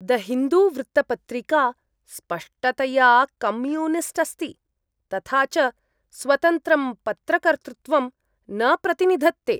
The Hindu वृत्तपत्रिका स्पष्टतया communist अस्ति, तथा च स्वतन्त्रं पत्रकर्तृत्वं न प्रतिनिधत्ते।